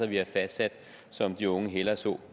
vi har fastsat som de unge hellere så